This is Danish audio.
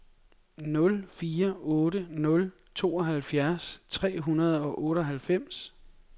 nul fire otte nul tooghalvfjerds tre hundrede og otteoghalvfems